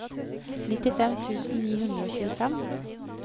nittifem tusen ni hundre og tjuefem